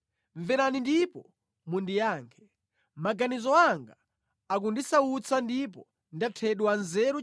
mverani ndipo mundiyankhe. Maganizo anga akundisautsa ndipo ndathedwa nzeru